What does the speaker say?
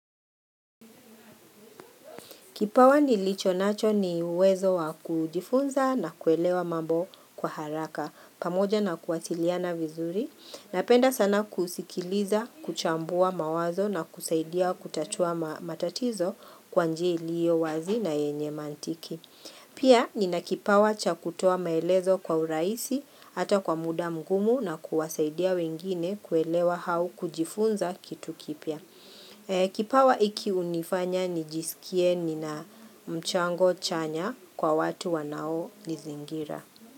Kipawa nilichonacho ni uwezo wa kujifunza na kuelewa mambo kwa haraka pamoja na kuwasiliana vizuri napenda sana kusikiliza kuchambua mawazo na kusaidia kutatua matatizo kwa njia ilio wazi na yenye mantiki. Pia nina kipawa cha kutoa maelezo kwa urahisi hata kwa muda mgumu na kuwasaidia wengine kuelewa au kujifunza kitu kipya. Kipawa hiki hunifanya nijisikie nina mchango chanya kwa watu wanaonizingira.